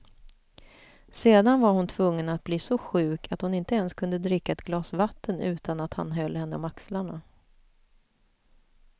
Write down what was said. Sedan var hon tvungen att bli så sjuk att hon ens inte kunde dricka ett glas vatten utan att han höll henne om axlarna.